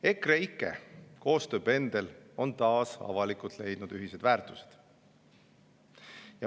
EKREIKE koostöö pendel on taas avalikult leidnud ühised väärtused.